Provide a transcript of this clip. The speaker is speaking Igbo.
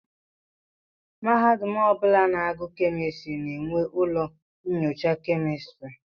Mahadum ọbụla na-agu kemistri na-enwe ụlọ nnyocha kemistri.